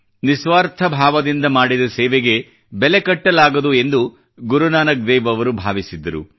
ನಿಸ್ವಾರ್ಥ ಭಾವದಿಂದ ಮಾಡಿದ ಸೇವೆಗೆ ಬೆಲೆ ಕಟ್ಟಲಾಗದು ಎಂದು ಗುರುನಾನಕ್ ದೇವ್ ಅವರು ಭಾವಿಸಿದ್ದರು